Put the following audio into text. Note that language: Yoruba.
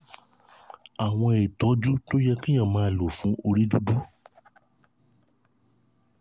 àwọn ìtọ́jú tó yẹ kéèyàn máa lò fún orí dúdú